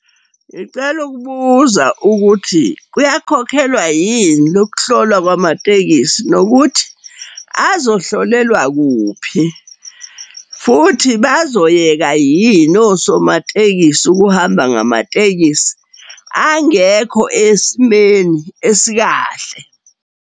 Ngicela ukubuza ukuthi kuyakhokhelwa yini lokuhlolwa kwamatekisi, nokuthi azohlolelwa kuphi, futhi bazoyeka yini osomatekisi ukuhamba ngamatekisi angekho esimeni esikahle?